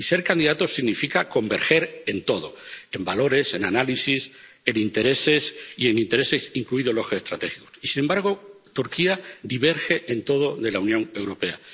Y ser candidato significa converger en todo en valores, en análisis, en intereses —incluidos los estratégicos—. Y sin embargo Turquía diverge en todo de la Unión Europea.